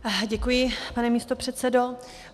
Děkuji, pane místopředsedo.